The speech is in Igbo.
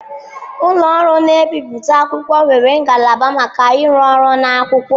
Ụlọ ọrụ na-ebipụta akwụkwọ nwere ngalaba maka ịrụ ọrụ na akwụkwọ.